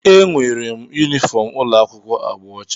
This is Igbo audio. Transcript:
ee, enwere m yunifọm ụlọ akwụkwọ agba ọcha